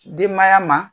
Denbaya ma